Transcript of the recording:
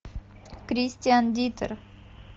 кристиан диттер